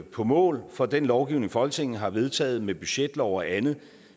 på mål for den lovgivning folketinget har vedtaget med budgetlov og andet